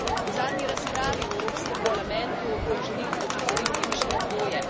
V zadnji razpravi v Evropskem parlamentu želim opozoriti še na dvoje.